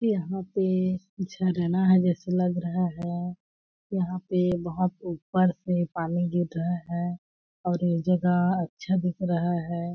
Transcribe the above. यहाँ पे झरना है जैसे लग रहा है यहाँ पे बहुत ऊपर से पानी गिर रहा है और ये जगह अच्छा दिख रहा है।